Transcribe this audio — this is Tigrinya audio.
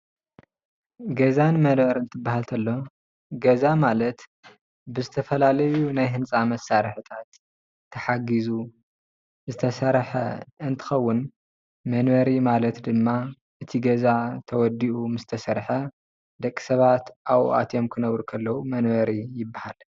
ገዛን መንበሪን ክን ትበሃል ተሎ ገዛ ማለት ብዝተፈላለዪ ናይ ህንፃ መሳርሒታት ተሓጊዙ ዝተሰርሐ እንትኸውን መንበሪ ማለት ድማ እቲ ገዛ ተወዲኡ ምስ ተሰርሐ ደቂሰባት ኣብኡ ኣትዮም ክነብሩ ከለዉ መንበሪ ይበሃል ።